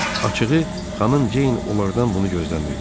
Açığı, xanım Ceyn onlardan bunu gözləmirdi.